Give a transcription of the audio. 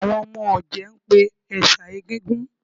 Àwọn ọmọ ọ̀jẹ̀ ń pè ẹ̀ṣà Egúngún